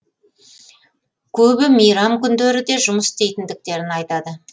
көбі мейрам күндері де жұмыс істейтіндіктерін айтады